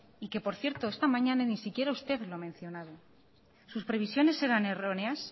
y que por cierto esta mañana ni siquiera usted lo ha mencionado sus previsiones eran erróneas